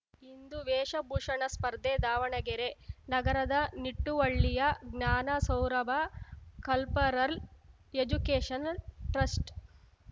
ಇಂದು ವೇಷಭೂಷಣ ಸ್ಪರ್ಧೆ ದಾವಣಗೆರೆ ನಗರದ ನಿಟ್ಟುವಳ್ಳಿಯ Jnana Saurabha cultural educational trust